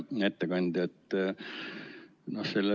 Hea ettekandja!